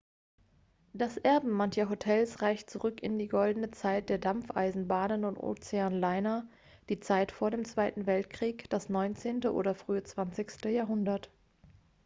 das erbe mancher hotels reicht zurück in die goldene zeit der dampfeisenbahnen und ozeanliner die zeit vor dem zweiten weltkrieg das 19. oder frühe 20. jahrhundert